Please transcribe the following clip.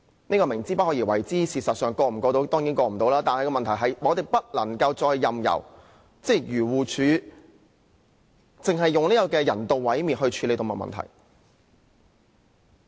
這是"明知不可為而為之"，因為修正案當然無法通過，但我們不能夠再任由漁農自然護理署只以人道毀滅來處理動物問題。